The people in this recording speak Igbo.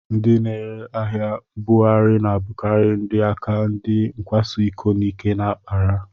Ndị na-ere ahịa mbugharị na-abụkarị ndị aka ndị nkwaso iko n'ike na-akpara